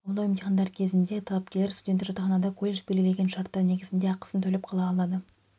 қабылдау емтихандары кезінде талапкерлер студенттік жатақханада колледж белгілеген шарттар негізінде ақысын төлеп қала алады